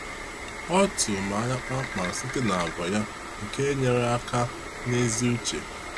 Ọ tụrụ mụ anya kpamkpam site n’àgwà ya nke enyere aka n’ezi uche.